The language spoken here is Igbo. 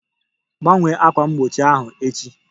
Gbanwee ákwà mgbochi ahụ echi!